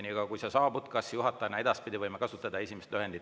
Niikaua kuni sa saabud: kas juhatajad võivad ka edaspidi kasutada lühendit EKRE?